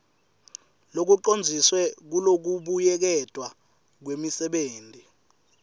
locondziswe kulokubuyeketwa kwemisebenti